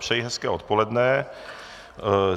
Přeji hezké odpoledne.